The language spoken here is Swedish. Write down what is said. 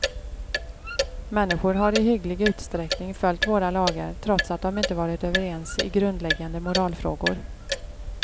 Människor har i hygglig utsträckning följt våra lagar trots att de inte varit överens i grundläggande moralfrågor.